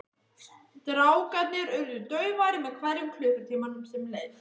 Strákarnir urðu daufari með hverjum klukkutímanum sem leið.